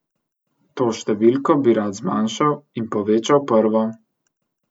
To številko bi rad zmanjšal in povečal prvo.